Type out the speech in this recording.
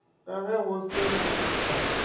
ka ge go se na